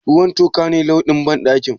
Ruwan toka ne launin banɗakin?